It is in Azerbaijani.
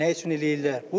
Nə üçün eləyirlər?